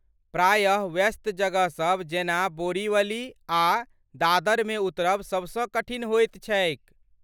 प्रायः, व्यस्त जगहसभ जेना बोरीवली आ दादरमे उतरब सबसँ कठिन होइत छैक।